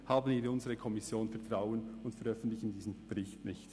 Haben wir in unsere Kommission Vertrauen und veröffentlichen diesen Bericht nicht.